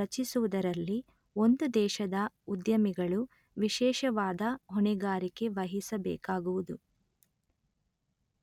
ರಚಿಸುವುದರಲ್ಲಿ ಒಂದು ದೇಶದ ಉದ್ಯಮಿಗಳು ವಿಶೇಷವಾದ ಹೊಣೆಗಾರಿಕೆ ವಹಿಸಬೇಕಾಗುವುದು